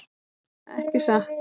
Ekki satt?